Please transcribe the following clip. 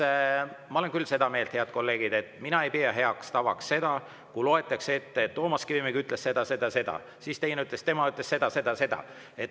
Ja kolmandaks, ma olen küll seda meelt, head kolleegid, mina ei pea heaks tavaks seda, kui loetakse ette: Toomas Kivimägi ütles seda, seda, seda ja keegi teine ütles seda, seda, seda.